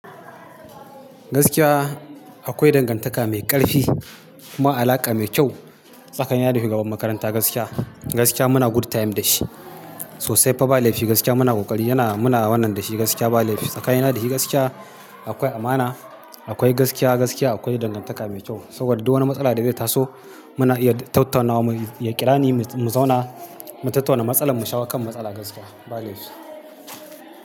Gaskiya akwai dangantaka mai ƙarfi kuma alaƙa mai kyau tsakanin ni da shugaban makaranta gaskiya. Gaskiya muna good time da shi sosai. Kuma ba laifi gaskiya muna ƙoƙari yana muna wannan da shi gaskiya ba laifi. Tsakanin ni da shi gaskiya akwai amana, akwai gaskiya gaskiya akwai dangantaka mai kyau. Saboda duk wani matsala da zai taso muna iya tattaunawa, ya ƙira ni mu zauna mu tattauna matsala mu shawo kan matsala gaskiya ba laifi.